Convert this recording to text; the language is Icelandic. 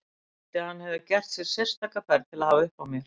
Það þýddi að hann hafði gert sér sérstaka ferð til að hafa uppi á mér.